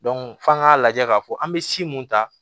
f'an k'a lajɛ k'a fɔ an bɛ si mun ta